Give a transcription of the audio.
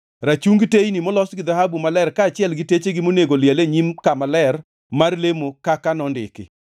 rachungi teyni molos gi dhahabu maler kaachiel gi techegi monego liel e nyim kama ler mar lemo kaka nondiki;